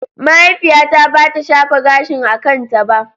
Mahaifiyata bata shafa gashin a kanta ba.